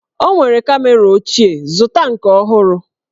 O nwere kamera ochie, zụta nke ọhụrụ!